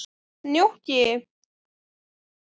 Snjóki, hvað er klukkan?